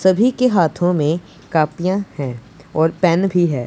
सभी के हाथों में कॉपियां हैं और पेन भी है।